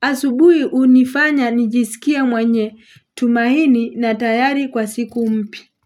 Asubuhi hunifanya nijisikia mwenye tumaini na tayari kwa siku mpya.